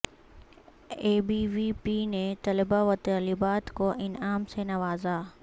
اے be وی پی نے طلبہ و طالبات کو انعام سے نوازا